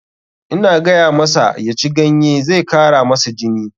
Ina gayamasa ya ci ganye, zai kara masa jini.